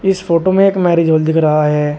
इस फोटो में एक मैरिज हॉल दिख रहा है।